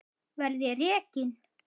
Verð ég rekinn?